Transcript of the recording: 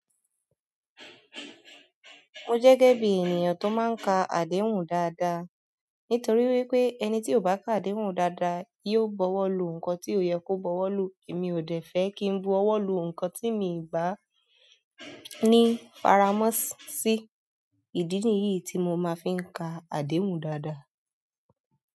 Mo jẹ́ gẹ́gẹ́ bí ènìyàn tó máa ń ka àdéhùn dáadáa. Nítorí wípé ẹni tí ò bá ka àdéhùn dáadáa yóò bọwọ́ lu nǹkan tí ò yẹ kó bọwọ́ lu. Èmi ò dẹ̀ fẹ́ kí n bọwọ́ lu nǹkan tí mi ò bá ní faramọ́ọ̀sì. Ìdí nìyí tí mo máa fin ka àdéhùn dáadáa.